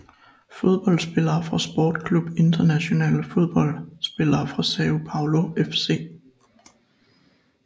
Fodboldspillere fra Sport Club Internacional Fodboldspillere fra São Paulo FC